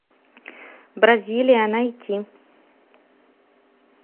бразилия найти